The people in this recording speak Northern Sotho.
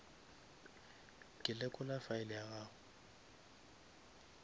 ke lekola file ya gago